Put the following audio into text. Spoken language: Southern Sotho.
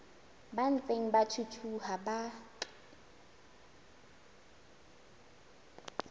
ba ntseng ba thuthuha ba